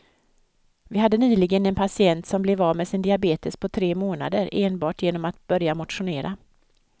Vi hade nyligen en patient som blev av med sin diabetes på tre månader enbart genom att börja motionera.